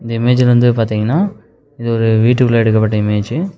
இந்த இமேஜ் வந்து பாத்தீங்கன்னா இதொரு வீட்டுக்குள்ள எடுக்கப்பட்ட இமேஜ் .